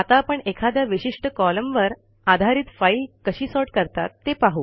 आता आपण एखाद्या विशिष्ट कॉलमवर आधारित फाईल कशी सॉर्ट करतात ते पाहू